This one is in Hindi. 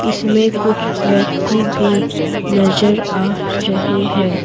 इसमें कुछ व्यक्ति भी नजर आ रहे हैं।